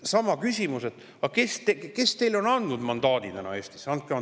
Sama küsimus: kes on teile andnud Eestis mandaadi selleks – andke andeks!